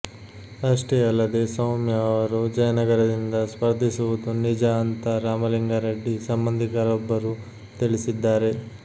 ಅಷ್ಟೇ ಅಲ್ಲದೇ ಸೌಮ್ಯ ಅವರು ಜಯನಗರದಿಂದ ಸ್ಪರ್ಧಿಸುವುದು ನಿಜ ಅಂತ ರಾಮಲಿಂಗಾ ರೆಡ್ಡಿ ಸಂಬಂಧಿಕರೊಬ್ಬರು ತಿಳಿಸಿದ್ದಾರೆ